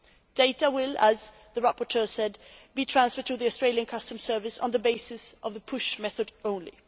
The data will, as the rapporteur said, be transferred to the Australian customs service on the basis of the push' method only.